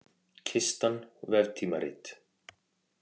Kistan, veftímarit.